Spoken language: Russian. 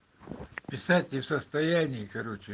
писать не в состоянии короче